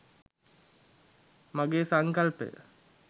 මගේ සංකල්පය